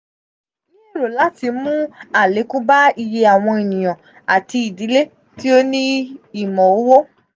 ni ero lati mu alekun ba iye awọn eniyan ati idile ti o ni imọ-owo.